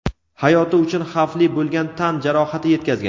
hayoti uchun xavfli bo‘lgan tan jarohati yetkazgan.